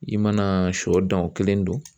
I mana sɔ dan o kelen don.